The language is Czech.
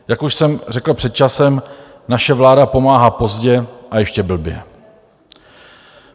Jak už jsem řekl před časem, naše vláda pomáhá pozdě a ještě blbě.